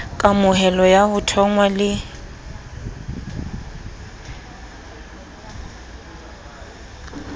kamohelo ya ho thonngwa le